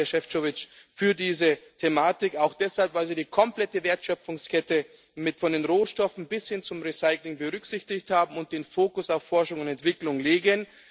Herzlichen Dank, Herr Šefčovič, für diese Thematik, auch deshalb, weil Sie die komplette Wertschöpfungskette von den Rohstoffen bis hin zum Recycling berücksichtigt haben und den Fokus auf Forschung und Entwicklung legen.